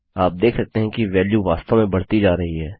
आप देख सकते हैं कि वेल्यू वास्तव में बढती जा रही है